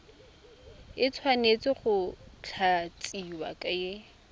e tshwanetse go tlatsiwa ke